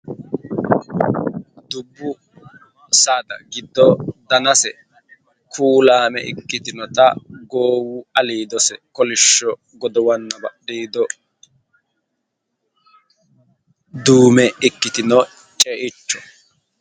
Duubbu saada giddo danase kuulaame ikkitinota goowu alese kolishsho godowanna badhiido duume ikkitino ce"icho.